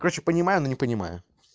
короче понимаю но не понимаю